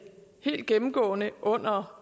helt gennemgående under